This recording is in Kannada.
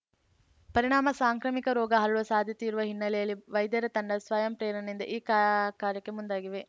ಪರಿಣಾಮ ಸಾಂಕ್ರಾಮಿಕ ರೋಗ ಹರಡುವ ಸಾಧ್ಯತೆಯಿರುವ ಹಿನ್ನೆಲೆಯಲ್ಲಿ ವೈದ್ಯರ ತಂಡ ಸ್ವಯಂ ಪ್ರೇರಣೆಯಿಂದ ಈ ಕಾ ಕಾರ್ಯಕ್ಕೆ ಮುಂದಾಗಿವೆ